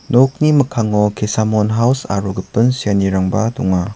nokni mikkango kesamon haus aro gipin seanirangba donga.